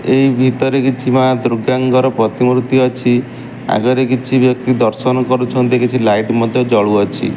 ଏହି ଭିତରେ କିଛି ମା ଦୁର୍ଗାଙ୍କର ପ୍ରତିମୂର୍ତ୍ତି ଅଛି ଆଗରେ କିଛି ବ୍ୟକ୍ତି ଦର୍ଶନ କରୁଛନ୍ତି କିଛି ଲାଇଟ ମଧ୍ୟ ଜଳୁଅଛି।